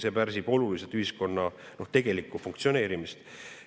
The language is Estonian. See pärsib oluliselt ühiskonna tegelikku funktsioneerimist.